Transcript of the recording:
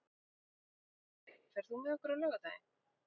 Dórey, ferð þú með okkur á laugardaginn?